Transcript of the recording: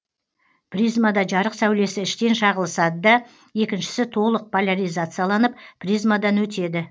призмада жарық сәулесі іштен шағылысады да екіншісі толық поляризацияланып призмадан өтеді